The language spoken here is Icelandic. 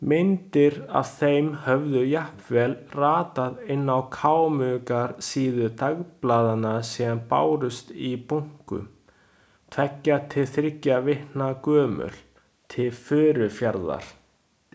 Myndir af þeim höfðu jafnvel ratað inn á kámugar síður dagblaðanna sem bárust í bunkum, tveggja til þriggja vikna gömul, til Furufjarðar.